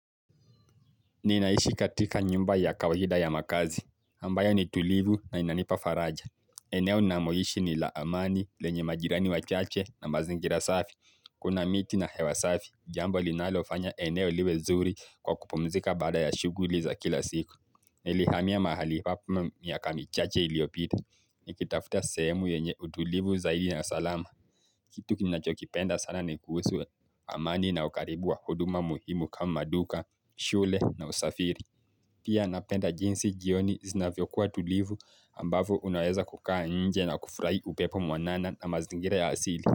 Ninaishi katika nyumba ya kawaida ya makazi, ambayo ni tulivu na inanipa faraja. Eneo na moishi ni laamani, lenye majirani wa chache na mazingira safi. Kuna miti na hewa safi, jambo linalofanya eneo liwe zuri kwa kupomzika baada ya shughuli za kila siku. Nilihamia mahali papu miaka michache iliopita. Nikitafuta sehemu yenye utulivu zaidi na salama. Kitu kinachokipenda sana nekusu amani na ukaribu wa huduma muhimu kama duka, shule na usafiri. Pia napenda jinsi jioni zina vyokuwa tulivu ambavu unaweza kukaa nje na kufurahi upepo mwanana na mazingira ya asili.